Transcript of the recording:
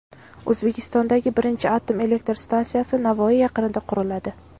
O‘zbekistondagi birinchi atom elektr stansiyasi Navoiy yaqinida quriladi.